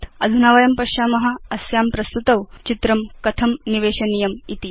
अधुना वयं पश्याम अस्यां प्रस्तुतौ चित्रं कथं निवेशनीयमिति